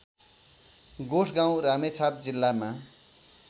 गोठगाउँ रामेछाप जिल्लामा